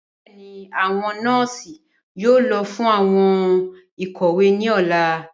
Bẹẹni, awọn nọọsi yoo lọ fun awọn ikowe ni ọla.